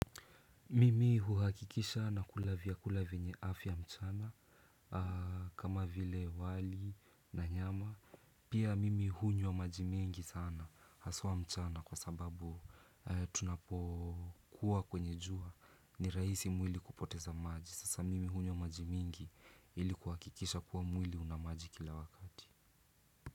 Mimi huhakikisha nakula vyakula vyenye afya mchana kama vile wali na nyama. Pia mimi hunywa maji mingi sana haswa mchana kwa sababu tunapokuwa kwenye jua ni rahisi mwili kupoteza maji. Sasa mimi huni wa maji mingi ili kuhakikisha kuwa mwili una maji kila wakati.